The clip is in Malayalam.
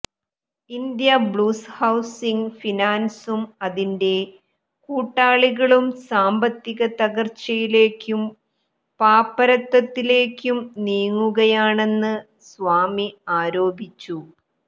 ഇന്ത്യാ ബുള്സ് ഹൌസിങ് ഫിനാന്സും അതിന്റെ കൂട്ടാളികളും സാമ്പത്തിക തകര്ച്ചയിലേക്കും പാപ്പരത്തത്തിലേക്കും നീങ്ങുകയാണെന്ന് സ്വാമി ആരോപിച്ചു